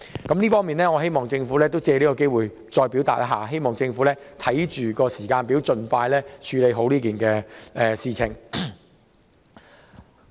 我藉此機會提出這項建議，希望政府能訂立時間表，盡快妥善落實有關安排。